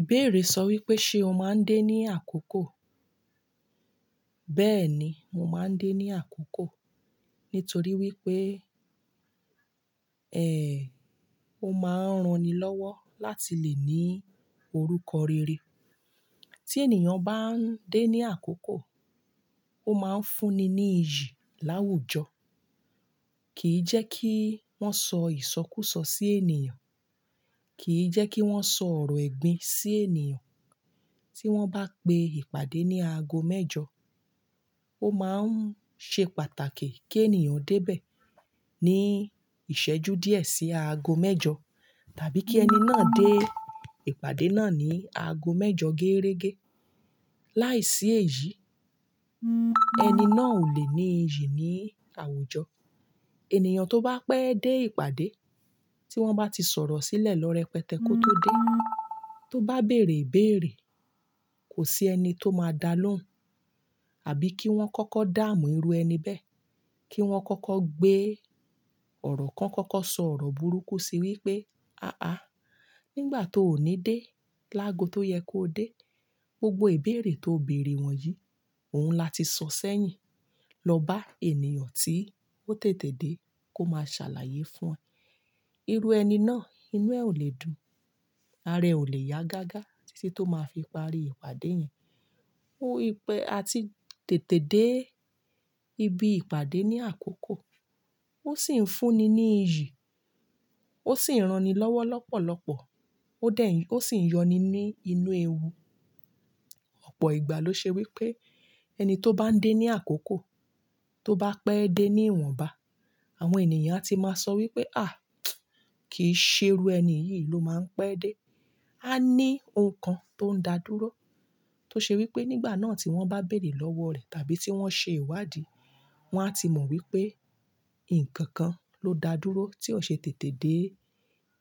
Ìbéèrè sọ wípé, ṣe o máa ń dé ní àkókò? Bẹ́ẹ̀ni, mo máa ń dé ní àkókò nítorí wípé, ẹ, ó máa ń ran ni lọ́wọ́ láti lè ní orúkọ rere. Tí ènìyàn bá ń dé ní àkókò, ó máa ń fúnni ní iyì láwùjọ. Kìí jẹ́ kí wọ́n sọ ìsọkúsọ sí ènìyàn, kìí jẹ́ kí wọ́n sọ ọ̀rọ̀ ẹ̀gbin sí ènìyàn. Tí wọ́n bá pe ìpàdé ní aago mẹ́jọ, ó máa ń ṣe pàtàkì kí ènìyàn dé bẹ́ẹ̀ ní ìṣẹ́jú díẹ̀ sí aago mẹ́jọ tàbí kí ẹni náà dé ìpàdé náà ní aago mẹ́jọ geerege. Láìsí èyí, ẹni náà ò lè ní iyì ní àwùjọ. Ènìyàn tó bá pẹ́ dé ìpàdé tí wọ́n bá ti sọ̀rọ̀ sílẹ̀ lọ́ rẹpẹtẹ kó tó dé, tó bá bèrè ìbèèrè, kò sí ẹni tó máa dá lóhùn àbí kí wọ́n kọ́kọ́ dáàmù irú ẹni bẹ́ẹ̀, kí wọ́n kọ́kọ́ gbé ọ̀rọ̀ kan, kọ́kọ́ sọ ọ̀rọ̀ burúkú sí wípé, "àáá", nígbà tó ò ní dé lágo tó yẹ kó dé. Gbogbo ìbéèrè tó bèrè wọ̀nyí, òun la ti sọ sẹ́yìn. Lọ bá ènìyàn tí ó tètè dé kó máa ṣàlàyé fún ẹ. Irú ẹni náà, inú ẹ̀ ò lè dùn, ara ẹ̀ ò lè yá gágá títí tó máa fi parí ìpàdé yẹn. Ó ipẹ́, a ti tètè dé ibi ìpàdé ní àkókò ó sì ń fúnni ní iyì, ó sì ń ran ni lọ́wọ́ lọ́pọ̀lọ́pọ̀, ó dẹ̀, ó sì ń yọni ní inú ewu. Ọ̀pọ̀ ìgbà ló ṣe wípé ẹni tó bá ń dé ní àkókò, tó bá pẹ́ dé ní ìwọ̀nba, àwọn ènìyàn ti máa sọ wípé, "àh! Kìí ṣe irú ẹni yìí ló máa ń pẹ́ dé". A ní ohun kan tó ń da dúró tó ṣe wípé nígbà náà tí wọ́n bá bèrè lọ́wọ́ rẹ̀ tàbí tí wọ́n ṣe ìwádìí, wọn a ti mọ̀ wípé ǹkan kan ló daa dúró tí ó ṣe tètè dé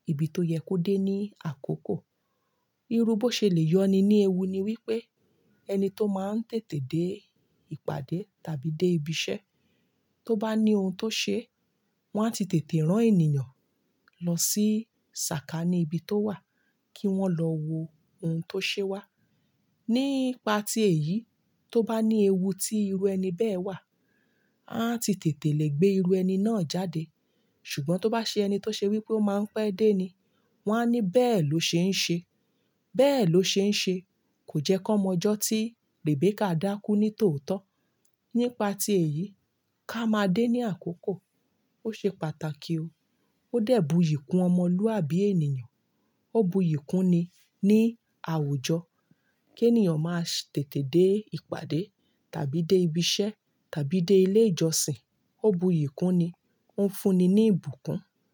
ibi tó yẹ kó dé ní àkókò. Irú bó ṣe lè yọni ní ewu ni wípé ẹni tó máa ń tètè dé ìpàdé tàbí dé ibi iṣẹ́, tó bá ní ohun tó ṣe, wọ́n á ti tètè rán ènìyàn lọ sí sàkání ibi tó wà kí wọ́n lọ wo ohun tó ṣe wá. Nípa ti èyí, tó bá ní ewu tí irú ẹni bẹ́ẹ̀ wà, a ti tètè lè gbé irú ẹni náà jáde. Ṣùgbọ́n tó bá ṣe ẹni tó ṣe wípé ó máa ń pẹ́ dé ni, wọ́n á ní bẹ́ẹ̀ ló ṣe ń ṣe. Bẹ́ẹ̀ ló ṣe ń ṣe kò jẹ́ kan mọ̀n ọ́jọ́ tí Rebecca dákú ní tòótọ́. Nípa ti èyí, ká máa dé ní àkókò. Ó ṣe pàtàkì o. Ó dẹ̀ bu iyì kún ọmọlúàbí ènìyàn. Ó bu iyì kúnni ní àwùjọ kí ènìyàn máa tètè dé ìpàdé tàbí dé ibi iṣẹ́ tàbí dé ilé ìjọsìn. Ó bu iyì kúnni, ó ń fúnni ní ìbùkún.